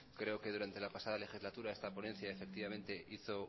creo que durante la pasada legislatura esta ponencia hizo